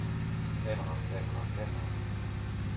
kamera kamera kamera